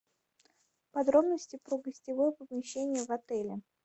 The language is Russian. подробности про гостевое помещение в отеле